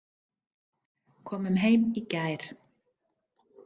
Komum heim í gær.